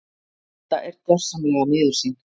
Edda er gersamlega miður sín.